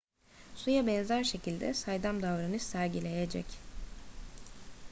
suya benzer şekilde saydam davranış sergileyecek